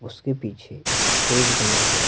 उसके पीछे एक स्टेज बना हुआ--